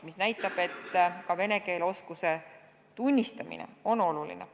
See näitab, et ka vene keele oskuse tunnistamine on oluline.